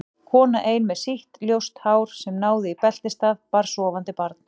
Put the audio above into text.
Kona ein með sítt ljóst hár sem náði í beltisstað, bar sofandi barn.